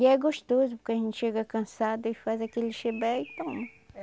E é gostoso, porque a gente chega cansada e faz aquele chibé e toma.